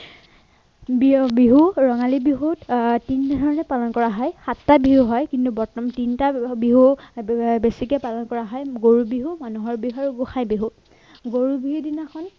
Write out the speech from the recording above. বিয়া বিহু ৰঙালী বিহুত আহ তিনিদিনলৈ পালন কৰা হয় সাতটা বিহু হয় কিন্তু প্ৰথম তিনিটা বিহু আহ বেছিকে পালন কৰা হয় গৰু বিহু মানুহৰ বিহু আৰু গোসাঁই বিহু